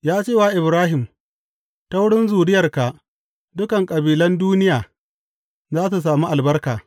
Ya ce wa Ibrahim, Ta wurin zuriyarka, dukan kabilan duniya za su sami albarka.’